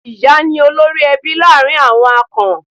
Ìyá ni olórí-ẹbí láàrin àwọn Akan.